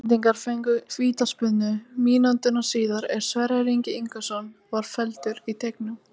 Íslendingar fengu vítaspyrnu mínútu síðar er Sverrir Ingi Ingason var felldur í teignum.